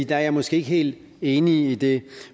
der er jeg måske ikke helt enig i det